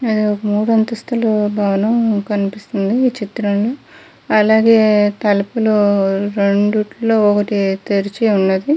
ఒక మూడు అంతస్తుల భవనం కనిపిస్తుంది ఈ చిత్రం లో అలాగే తలుపులు రెండిటిలో ఒకటి తెరిచి ఉన్నది.